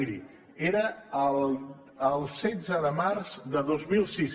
miri era el setze de març de dos mil sis